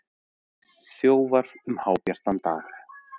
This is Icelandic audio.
Þjófar um hábjartan dag